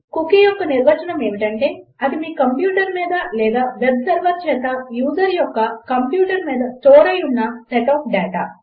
cookie యొక్క నిర్వచనం ఏమిటంటే అది మీ కంప్యూటర్ మీద లేదా వెబ్ సర్వర్ చేత యూజర్ యొక్క కంప్యూటర్ మీద స్టోర్ అయి ఉన్న సెట్ ఆఫ్ డాటా